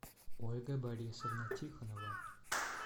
ольга борисовна тихонова